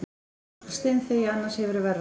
Og þú skalt steinþegja, annars hefurðu verra af.